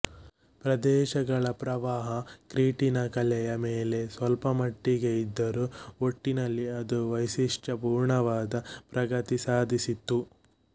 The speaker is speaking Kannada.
ಪ್ರದೇಶಗಳ ಪ್ರಭಾವ ಕ್ರೀಟಿನ ಕಲೆಯ ಮೇಲೆ ಸ್ವಲ್ಪ ಮಟ್ಟಿಗೆ ಇದ್ದರೂ ಒಟ್ಟಿನಲ್ಲಿ ಅದು ವೈಶಿಷ್ಟ್ಯ ಪೂರ್ಣವಾದ ಪ್ರಗತಿ ಸಾಧಿಸಿತ್ತು